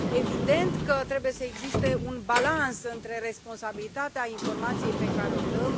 Evident că trebuie să existe un balans între responsabilitatea informației pe care o dăm.